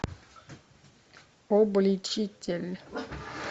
обличитель